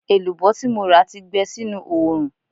Èlùbọ́ tí mo rà ti gbẹ sínú oòrùn